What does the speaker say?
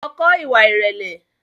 Lọ kọ́ ìwà ìrẹ̀lẹ̀!